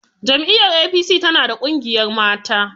Jam'iyyar APC tana da ƙungiyar mata.